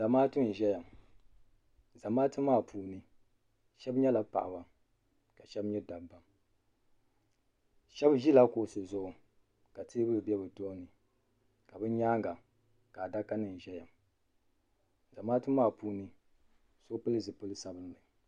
Zamaatu n-ʒeya Zamaatu maa puuni shɛba nyɛla paɣiba ka shɛba nyɛ dabba shɛba ʒila kuɣusi zuɣu ka teebuli be bɛ tohini ka bɛ nyaaŋa ka adakanima ʒeya zamaatu maa puuni so pili zipili sabinli.